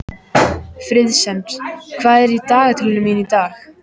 Friðsemd, hvað er í dagatalinu mínu í dag?